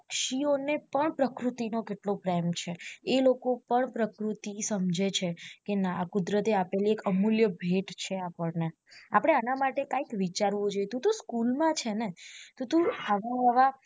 પક્ષી ઓ ને પણ પ્રકૃતિ નો કેટલો પ્રેમ છે એ લોકો પણ પ્રકૃતિ સમજે છે કે ના કુદરતે આપેલી એક અમૂલ્ય ભેટ છે આપડ ને આપડે આના માટે કૈક વિચારવું જોઈએ તું તો school માં છે ને તો તું